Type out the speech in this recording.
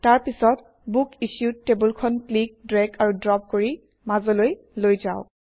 তাৰ পিছত বুকিচ্যুড টেবুলখন ক্লিক ড্ৰেগ আৰু ড্ৰপ কৰি মাজলৈ লৈ যাওক